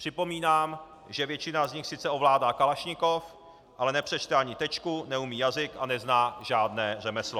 Připomínám, že většina z nich sice ovládá kalašnikov, ale nepřečte ani tečku, neumí jazyk a nezná žádné řemeslo.